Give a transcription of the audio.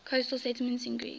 coastal settlements in greece